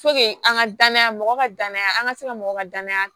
an ka danaya mɔgɔ ka danaya an ka se ka mɔgɔw ka danaya